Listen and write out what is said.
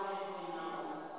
a bve khazwo a ite